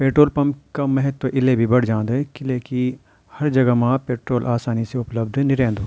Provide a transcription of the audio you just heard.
Petrol pump का महत्व इले भी बड जान्द किले की हर जगह मा पेट्रोल आसानी से उपलब्ध नी रैंदु।